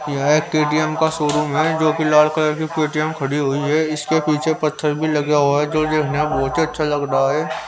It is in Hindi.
यहाँ एक के डी एम् का शोरूम है जो कि लाल कलर की पे टी एम् खड़ी हुई है इसके पीछे पत्थर भी लगा हुआ है जो देखने में बहुत ही अच्छा लग रहा है.